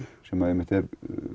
sem er